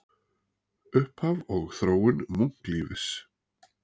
Upphaf og þróun munklífis